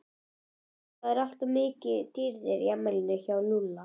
Það var mikið um dýrðir í afmælinu hjá Lúlla.